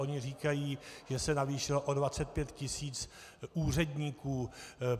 Oni říkají, že se navýšilo o 25 tisíc úředníků.